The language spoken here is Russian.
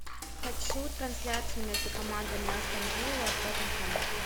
хочу трансляцию между командами астон вилла тоттенхэм